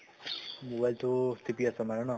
mobile টো টিপি আছা মানে ন?